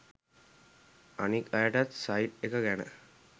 අනික් අයටත් සයිට් එක ගැන